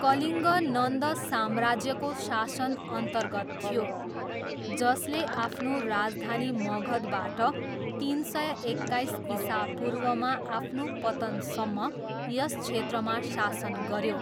कलिङ्ग नन्द साम्राज्यको शासनअन्तर्गत थियो जसले आफ्नो राजधानी मगधबाट तिन सय एक्काइस इसापूर्वमा आफ्नो पतनसम्म यस क्षेत्रमा शासन गऱ्यो।